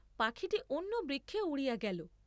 পাখীটি অন্যবৃক্ষে উড়িয়া গেল।